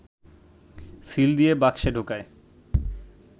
seal দিয়ে বাক্সে ঢোকায়